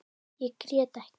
Ég grét ekki.